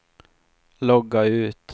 logga ut